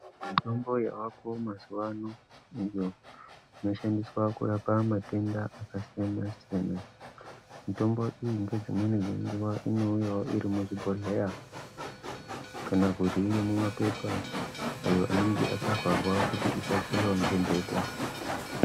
Mitombo yaako mazuwa ano iyo inoshandiswa kurapa matenda akasiyanasiyana mitombo iyi nedzimweni dzenguwa inouyawo irimuzvibhohleya kana kuti iri mumapepa ayo anaenge akavharwa kuti isachaiwa ngemhepo.